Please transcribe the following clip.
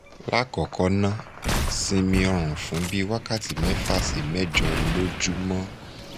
lákọ̀ọ́kọ́ ná simi orun fun bi wakati mefa si mejo lojumo